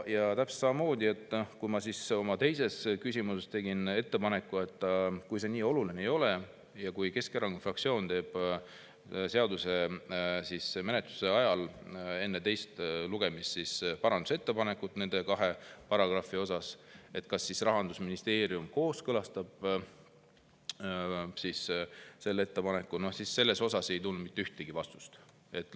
Ja täpselt samamoodi, kui ma oma teises küsimuses tegin ettepaneku, et kui see nii oluline ei ole ja Keskerakonna fraktsioon teeb menetlemise ajal enne selle teist lugemist nende kahe paragrahvi kohta parandusettepaneku, siis kas Rahandusministeerium kooskõlastab selle ettepaneku, siis sellele ei tulnud mitte vastust.